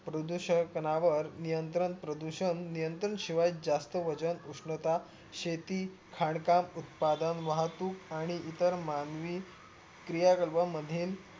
प्रदूषक पणावर नियंत्रण प्रदूषण नियंत्रण शिवाय जास्त वजन उष्णता शेती खाणकाम उत्पादन वाहतूक आणि इतर मानवी क्रिया क्रियागभा मधील